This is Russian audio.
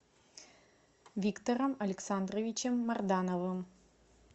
виктором александровичем мардановым